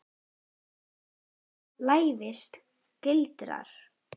Í þessu felst lævís gildra.